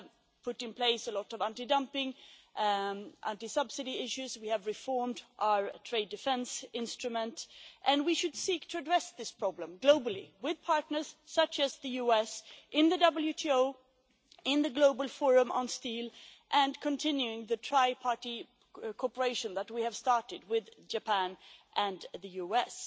We have put in place a lot of anti dumping and anti subsidy issues, we have reformed our trade defence instrument, and we should seek to address this problem globally with partners such as the US in the WTO, in the Global Forum on Steel and continuing the tri-party cooperation that we have started with Japan and the US.